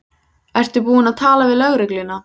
Ertu búin að tala við lögregluna?